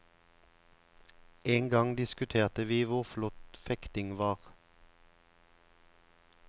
En gang diskuterte vi hvor flott fekting var.